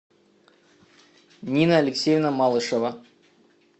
нина алексеевна малышева